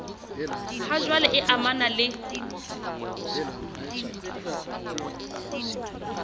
ha jwale e amanang le